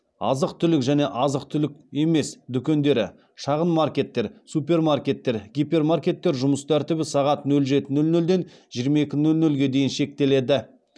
азық түлік және азық түлік емес дүкендері шағын маркеттер супермаркеттер гипермаркеттер жұмыс тәртібі сағат нөл жеті нөл нөлден жиырма екі нөл нөлге дейін шектеледі